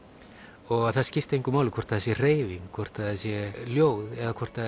og að það skipti engu máli hvort það sé hreyfing hvort það sé ljóð eða hvort það